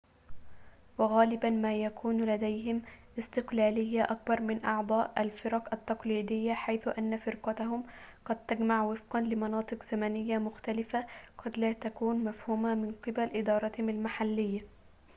وغالبا ما يكون لديهم استقلالية أكبر من أعضاء الفرق التقليدية حيث أن فرقهم قد تجتمع وفقا لمناطق زمنية مختلفة قد لا تكون مفهومة من قبل إدارتهم المحلية